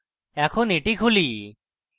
এখন এটি খুলি